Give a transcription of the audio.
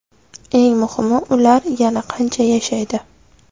Eng muhimi, ular yana qancha yashaydi?